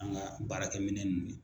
An ka baarakɛminɛn nunnu ye